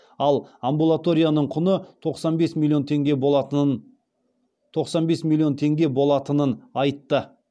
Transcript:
ал амбулаторияның құны тоқсан бес миллион теңге болатынын айтты